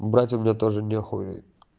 брать у меня тоже нехуй